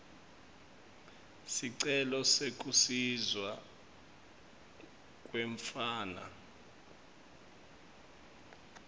sicelo sekusiswa kwemntfwana